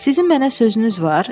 Sizin mənə sözünüz var?